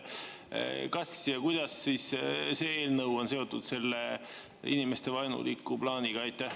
Kas ja kuidas see eelnõu on seotud inimestevaenuliku plaaniga?